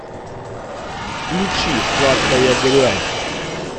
включи сладкая грязь